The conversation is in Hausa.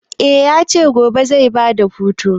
Eh ya ce gobe zai ba da hutu.